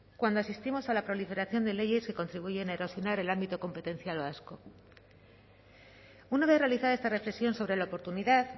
cuando asistimos a la proliferación de leyes que contribuyen a erosionar el ámbito competencial vasco una vez realizada esta reflexión sobre la oportunidad